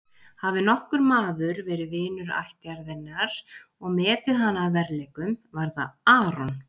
Hafi nokkur maður verið vinur ættjarðarinnar og metið hana að verðleikum var það Aron.